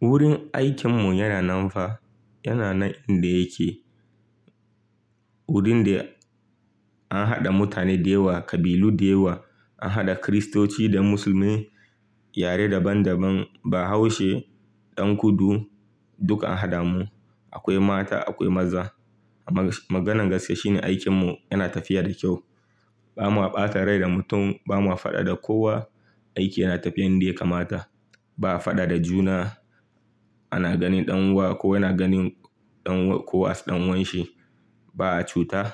Wurin aikin mu yana nan fa, yana nan inda yake. Wurin da an haɗa mutane da yawa, kabilu da yawa, an haɗa Kiristoci da musulmai, yare daban daban, Bahaushe, Ɗan kudu duka a haɗa mu. Akwai mata akwai maza. Maganan gaskiya shine aikin mu yana tafiya da kyau. Ba ma ɓata rai da mutum, ba ma faɗa da kowa, aiki yana tafiya inda ya kamata. Ba a faɗa da juna, ana ganin ɗan uwa, kowa yana ganin ɗan uwa ko as ɗan uwanshi. Ba a cuta.